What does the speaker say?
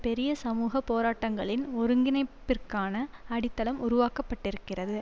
பெரிய சமூக போராட்டங்களின் ஒருங்கிணைப்பிற்கான அடித்தளம் உருவாக்க பட்டிருக்கிறது